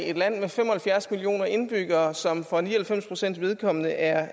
et land med fem og halvfjerds millioner indbyggere som for ni og halvfems pcts vedkommende er